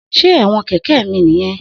Se ẹwọn kẹkẹ mi niyẹn?